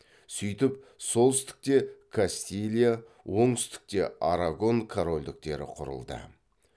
сөйтіп солтүстікте кастилия оңтүстікте арагон корольдіктері құрылды